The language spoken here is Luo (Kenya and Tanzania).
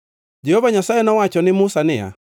Jehova Nyasaye nowacho ne Musa niya,